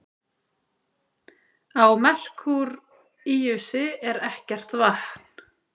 Á Merkúríusi er ekkert vatn.